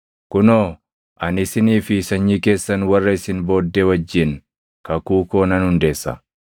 “Kunoo ani isinii fi sanyii keessan warra isin booddee wajjin kakuu koo nan hundeessa.